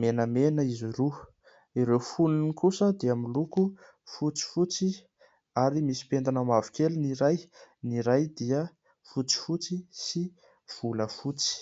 menamena izy roa ; ireo fonony kosa dia miloko fotsifotsy ary misy pentina mavokely ny iray, ny iray dia fotsifotsy sy volafotsy.